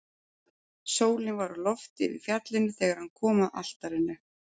Sólin var á lofti yfir fjallinu þegar hann kom að altarinu.